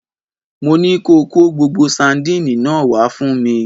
Mo ní ko Kó gbogbo sandínì náà wá fún mi!